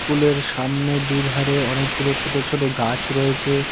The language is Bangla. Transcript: স্কুলের সামনে দুই ধারে অনেকগুলো ছোট ছোট গাছ রয়েছে।